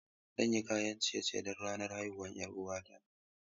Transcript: Zan yi kayan ciye-ciye don ranar haihuwar 'yar uwata.